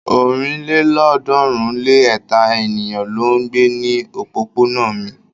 ọ̀rìnlélọ́ọ̀ọ́dúnrún-lé-ẹ̀ta ènìyàn ló ń gbé ní òpópónà mi.